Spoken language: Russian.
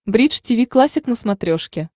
бридж тиви классик на смотрешке